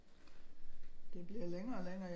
Det bliver længere og længere